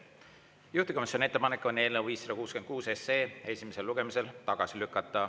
Juhtivkomisjoni ettepanek on eelnõu 566 esimesel lugemisel tagasi lükata.